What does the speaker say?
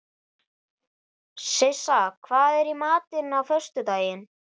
Sissa, hvað er í matinn á föstudaginn?